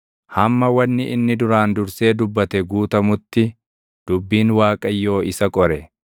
hamma wanni inni duraan dursee dubbate guutamutti dubbiin Waaqayyoo isa qore.